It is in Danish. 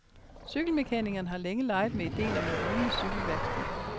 Cykelmekanikeren har længe leget med idéen om et rullende cykelværksted.